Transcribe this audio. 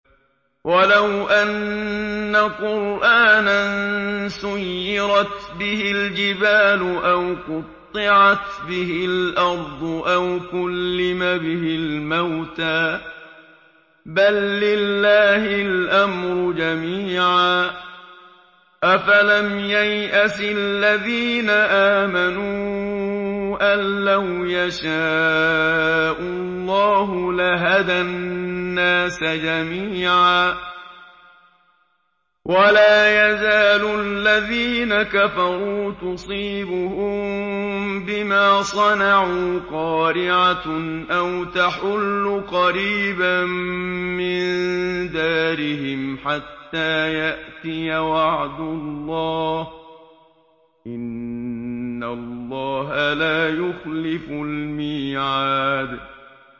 وَلَوْ أَنَّ قُرْآنًا سُيِّرَتْ بِهِ الْجِبَالُ أَوْ قُطِّعَتْ بِهِ الْأَرْضُ أَوْ كُلِّمَ بِهِ الْمَوْتَىٰ ۗ بَل لِّلَّهِ الْأَمْرُ جَمِيعًا ۗ أَفَلَمْ يَيْأَسِ الَّذِينَ آمَنُوا أَن لَّوْ يَشَاءُ اللَّهُ لَهَدَى النَّاسَ جَمِيعًا ۗ وَلَا يَزَالُ الَّذِينَ كَفَرُوا تُصِيبُهُم بِمَا صَنَعُوا قَارِعَةٌ أَوْ تَحُلُّ قَرِيبًا مِّن دَارِهِمْ حَتَّىٰ يَأْتِيَ وَعْدُ اللَّهِ ۚ إِنَّ اللَّهَ لَا يُخْلِفُ الْمِيعَادَ